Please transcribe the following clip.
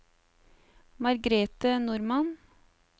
Margrethe Normann